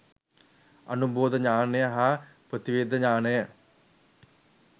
අනුබෝධ ඤාණය හා ප්‍රතිවේධ ඤාණය